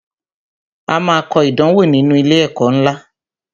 A máa kọ ìdánwò nínú ilé ẹ̀kọ́ ńlá